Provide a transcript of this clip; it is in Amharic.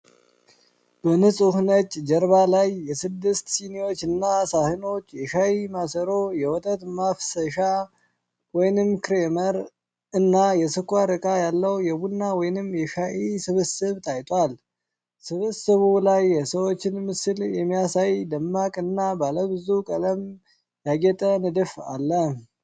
በንፁህ ነጭ ጀርባ ላይ የስድስት ስኒዎችና ሳህኖች፣ የሻይ ማሰሮ፣ የወተት ማፍሰሻ (ክሬመር) እና የስኳር ዕቃ ያለው የቡና ወይም የሻይ ስብስብ ታይቷል። ስብስቡ ላይ የሰዎችን ምስል የሚያሳይ ደማቅ እና ባለብዙ ቀለም ያጌጠ ንድፍ አለ።